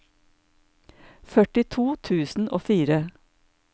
førtito tusen og fire